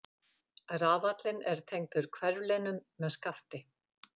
Rafallinn er tengdur hverflinum með skafti.